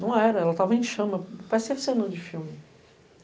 Não era, ela estava em chama, parecia cena de filme.